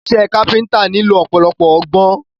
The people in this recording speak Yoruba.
Iṣẹ́ káfíntà nílò ọ̀pọ̀lọpọ̀ ọgbọ́n.